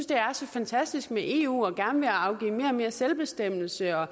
det er så fantastisk med eu og gerne vil afgive mere selvbestemmelse og